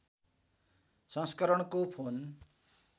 सँस्करणको phone